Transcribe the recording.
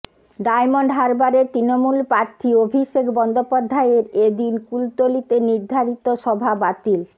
diamond হারবারের তৃণমূল প্রার্থী অভিষেক বন্দ্যোপাধ্যায়ের এ দিন কুলতলিতে নির্ধারিত সভা বাতিল